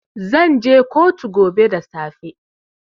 Zan je kotu gobe da safe.